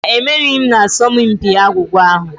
Mba, emerighị m n'asọmpi agwụgwa ahụ.